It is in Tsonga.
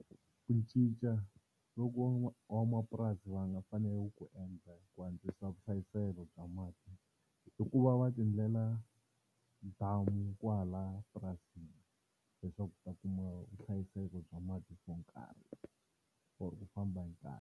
Ku cinca loko van'wamapurasi va nga fanele ku ku endla ku antswisa vuhlayiselo bya mati i ku va va ti endlela damu kwalaya purasini leswaku u ta kuma vuhlayiseko bya mati byo nkarhi or ku famba hi nkarhi.